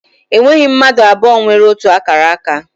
E nweghị mmadụ abụọ nwere ótù akara aka.